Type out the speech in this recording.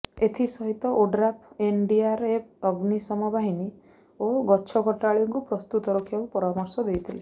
ଏଥିସହିତ ODRAF NDRF ଅଗ୍ନିଶମ ବାହିନୀ ଓ ଗଛକଟାଳିଙ୍କୁ ପ୍ରସ୍ତୁତ ରଖିବାକୁ ପରାମର୍ଶ ଦେଇଥିଲେ